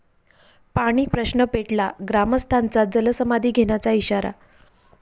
पाणीप्रश्न पेटला, ग्रामस्थांचा जलसमाधी घेण्याचा इशारा